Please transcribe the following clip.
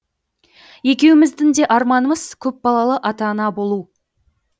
екеуміздің де арманымыз көп балалы ата ана болу